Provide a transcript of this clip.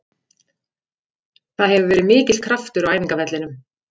Það hefur verið mikill kraftur á æfingavellinum.